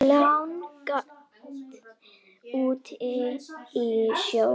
langt úti á sjó.